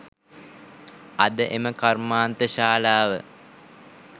අද එම කර්මාන්තශාලාව